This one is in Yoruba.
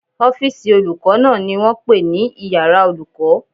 Ọ́fìsì olùkọ́ náà ni wọ́n pè ní iyàrá olùkọ́